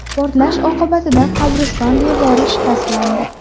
Portlash oqibatida qabriston devori shikastlandi.